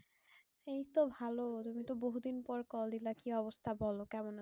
এই তো ভালো তুমি তো বহু দিন পর কল দিলা। কি অবস্থা বোলো কেমন?